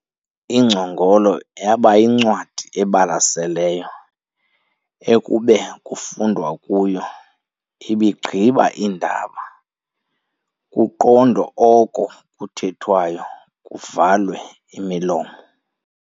Ingcongolo yaba yincwadi ebalaselayo ekube kufundwa kuyo, iibigqiba iindaba, kuqondwe oko kuthethwayo kuvalwe imilomo.